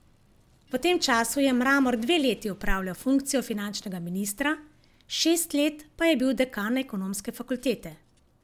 V tem času je Mramor dve leti opravljal funkcijo finančnega ministra, šest let pa je bil dekan Ekonomske fakultete.